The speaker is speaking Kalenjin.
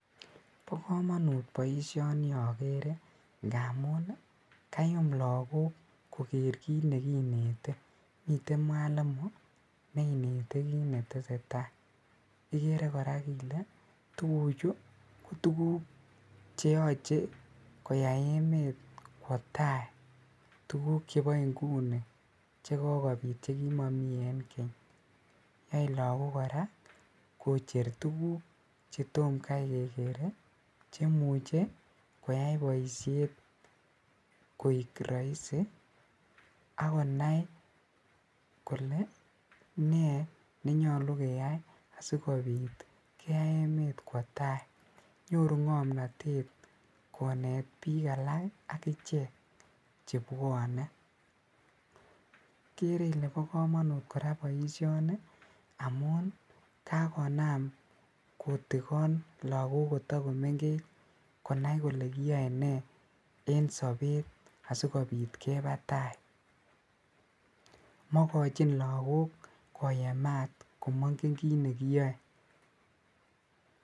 Bokomonut boisioni okere ngamun ii kayum lagok koker kit nekinete miten mwalimu neinete kit netesee taa, ikere koraa ile tuguchu kotuguk cheyoche koyai emet kwaotai tuguk chebo inguni chekokobit chekimomi en keny ak koyai lagok koraa kocher tuguk chetom kai kekere ii chemuche koyai boisiet koik roisi ak konai kole ne nenyolu keyai asikobit keyai emet kwo tai, nyoru ngomnotet konet bik alak ak ichek chwbwone, ikere ile bokomonut koraa boisioni amun kakonam kotikon lagok kotogomengech konai koke kiyoe nee en sobet sikobit kebaa tai, mokochin lagok koyemaat omongen kit nekiyoe.